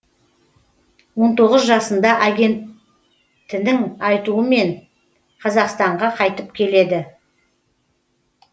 он тоғыз жасында агентінің айтуымен қазақстанға қайтып келеді